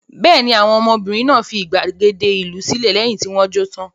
Bẹ́ẹ̀ ni, àwọn ọmọbìnrin náà fi ìgbàgede ìlú sílẹ̀ lẹ́yìn tí wọ́n jó tán.